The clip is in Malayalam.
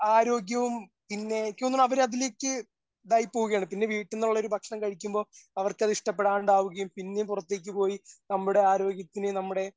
ആരോഗ്യവും പിന്നെ നിക്ക് തോന്നണു അവര് അതിലേക്ക് ഇതായി പോകുകയാണ് പിന്നെ വീട്ടിനോള്ളൊരു ഭക്ഷണം കഴിക്കുമ്പോ അവർക്ക് അത് ഇഷ്ടപ്പെടാണ്ടവുകയും പിന്നെയും പുറത്തേക്ക് പോയി നമ്മുടെ ആരോഗ്യത്തിന് നമ്മുടെ